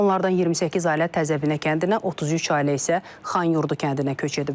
Onlardan 28 ailə Təzəbinə kəndinə, 33 ailə isə Xanyurdu kəndinə köç edib.